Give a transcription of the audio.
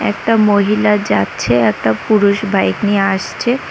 একটা মহিলা যাচ্ছে একটা পুরুষ বাইক নিয়ে আসছে।